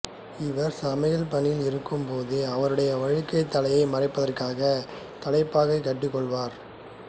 இவர் சமையல் பணியில் இருக்கும் போது அவருடைய வழுக்கைத் தலையை மறைப்பதற்காக தலைப்பாகை கட்டிக் கொள்வார்